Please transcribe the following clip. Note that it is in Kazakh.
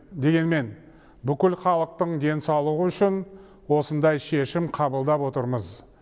дегенмен бүкіл халықтың денсаулығы үшін осындай шешім қабылдап отырмыз